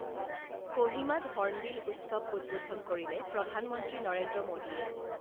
কহিমাত hornbill উৎসৱ উদ্বোধন কৰিলে প্ৰধানমন্ত্ৰী নৰেন্দ্ৰ মোদীয়ে